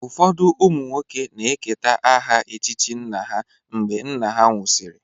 Ụfọdụ ụmụ nwoke na-eketa aha echichi nna ha mgbe nna ha nwụsịrị.